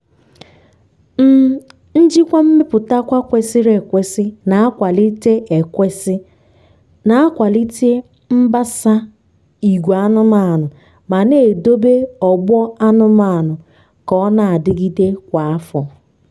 um njikwa mmeputakwa kwesịrị ekwesị na-akwalite ekwesị na-akwalite mbasa ìgwè anụmanụ ma na-edobe ọgbọ anụmanụ ka ọ na-adịgide kwa afọ.